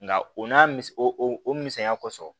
Nka o n'a miso o o misaya kosɔn